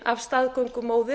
af staðgöngumóður